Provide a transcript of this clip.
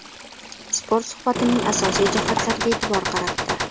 Spot suhbatning asosiy jihatlariga e’tibor qaratdi .